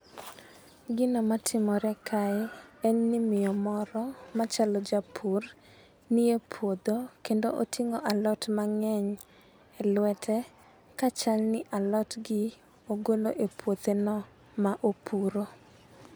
Gino matimore kae en ni miyo moro machalo japur nie puodho kendo oting'o alot mang'eny e lwete ka chal ni alot gi ogolo e puothe no ma opuro.